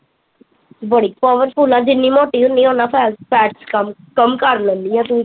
ਬੜੀ powerful ਆ ਜਿੰਨੀ ਮੋਟੀ ਹੁਣੀ ਆ ਉਨਾਂ ਫੈ fat ਚ ਕਮ ਕਰ ਲੈਂਦੀ ਆ ਤੂੰ